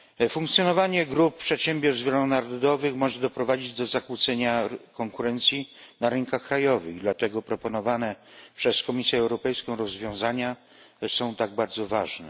Funkcjonowanie grup przedsiębiorstw wielonarodowych może doprowadzić do zakłócenia konkurencji na rynkach krajowych, dlatego proponowane przez Komisję Europejską rozwiązania są tak bardzo ważne.